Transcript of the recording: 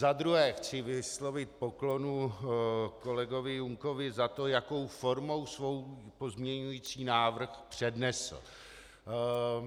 Za druhé chci vyslovit poklonu kolegovi Junkovi za to, jakou formou svůj pozměňující návrh přednesl.